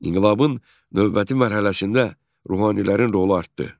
İnqilabın növbəti mərhələsində ruhanilərin rolu artdı.